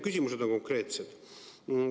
Küsimused on konkreetsed.